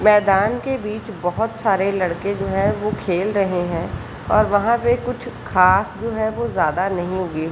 मैदान के बिच बहुत सारे लड़के जो है वो खेल रहे है और वहा पे कुछ घास जो है वो ज्यादा नहीं उगी --